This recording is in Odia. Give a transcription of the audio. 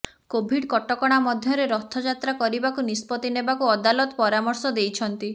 କୋଭିଡ କଟକଣା ମଧ୍ୟରେ ରଥଯାତ୍ରା କରିବାକୁ ନିଷ୍ପତ୍ତି ନେବାକୁ ଅଦାଲତ ପରାମର୍ଶ ଦେଇଛନ୍ତି